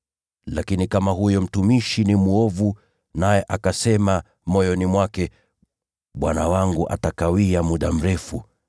Lakini kama huyo mtumishi ni mwovu, naye akasema moyoni mwake, ‘Bwana wangu atakawia muda mrefu,’